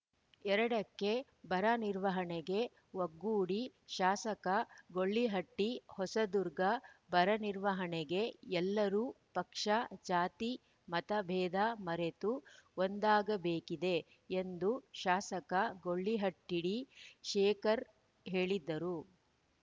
ಎರಡಕ್ಕೆಬರ ನಿರ್ವಹಣೆಗೆ ಒಗ್ಗೂಡಿ ಶಾಸಕ ಗೂಳಿಹಟ್ಟಿ ಹೊಸದುರ್ಗ ಬರ ನಿರ್ವಹಣೆಗೆ ಎಲ್ಲರೂ ಪಕ್ಷ ಜಾತಿ ಮತಬೇಧ ಮರೆತು ಒಂದಾಗಬೇಕಿದೆ ಎಂದು ಶಾಸಕ ಗೊಳಿಹಟ್ಟಿಡಿಶೇಖರ್‌ ಹೇಳಿದರು